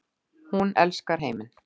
Hún elskar heiminn.